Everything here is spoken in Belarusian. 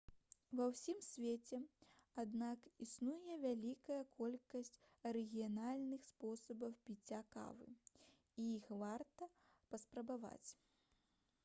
ва ўсім свеце аднак існуе вялікая колькасць арыгінальных спосабаў піцця кавы і іх варта паспрабаваць